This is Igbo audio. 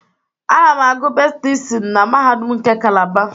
Ana m agụ Medịsinu na Mahadum nke Calaba.